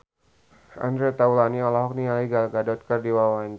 Andre Taulany olohok ningali Gal Gadot keur diwawancara